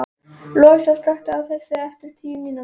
Lovísa, slökktu á þessu eftir tíu mínútur.